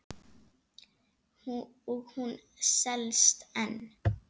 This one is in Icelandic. Og hún selst enn.